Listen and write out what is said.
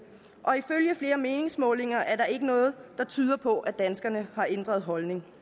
og ifølge flere meningsmålinger er der ikke noget der tyder på at danskerne har ændret holdning